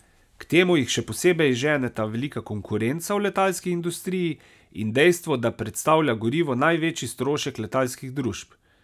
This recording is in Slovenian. K temu jih še posebej ženeta velika konkurenca v letalski industriji in dejstvo, da predstavlja gorivo največji strošek letalskih družb.